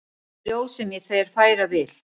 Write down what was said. Ljóð sem ég þér færa vil.